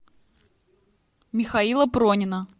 михаила пронина